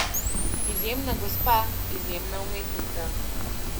Izjemna gospa, izjemna umetnica.